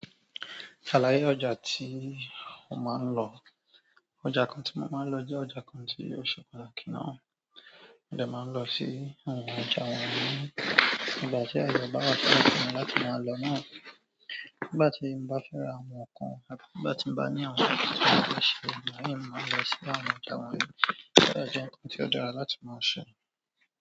Àlàyé ọjà tí o máa ń lọ, ọjà kan tí mo máa ń lọ jẹ́ ọjà kan tí o ṣe pàtàkì náà. Mo dẹ máa ń lọ sí àwọn ọjà wọ̀nyí nígbà tí aye bá fún mi láti máa lọ náà. Nígbà tí n bá fẹ́ ra àwọn ǹnkan, àbí nígbà tí n bá ní àwọn ǹnkan tí mo fẹ́ ṣe, mo máa ń lọ sí àwọn ọjà wọ̀nyí. Ó dẹ́ ọjà nǹkan tí ó dára láti máa ṣe.